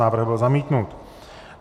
Návrh byl zamítnut.